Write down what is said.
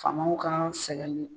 Faamaw ka sɛgɛn